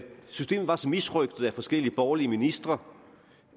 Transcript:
systemet var så misrøgtet af forskellige borgerlige ministre